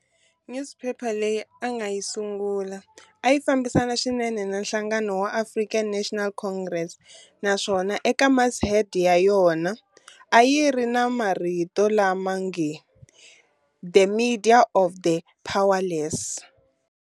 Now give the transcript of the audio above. Nyuziphepha leyi a nga yi sungula, a yi fambisana swinene na nhlangano wa African National Congress, na swona eka mashead ya yona a yi ri na marito lama nge-"The media of the powerless."